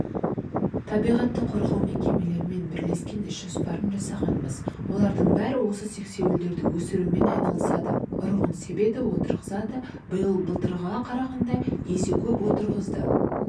табиғатты қорғау мекемелерімен бірлескен ісжоспарын жасағанбыз олардың бәрі осы сексеуілді өсірумен айналысады ұрығын себеді отырғызады биыл былтырғыға қарағанда есе көп отырғызды